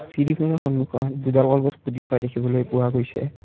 চিৰিখনৰ সন্মুখত দুডাল কলগছ পুতি থোৱা দেখিবলৈ পোৱা গৈছে।